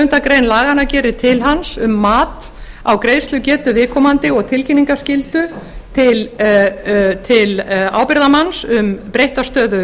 sjöundu grein laganna gerir til hans um mat á greiðslugetu viðkomandi og tilkynningaskyldu til ábyrgðarmanns um breytta stöðu